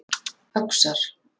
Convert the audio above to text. Öxar